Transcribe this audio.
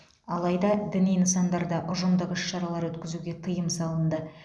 алайда діни нысандарда ұжымдық іс шаралар өткізуге тыйым салынды